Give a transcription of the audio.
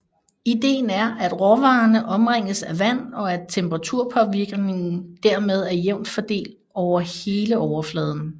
Idéen er at råvarerne omringes af vand og at temperaturpåvirkningen dermed er jævnt fordelt over hele overfladen